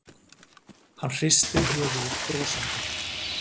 Hann hristir höfuðið brosandi.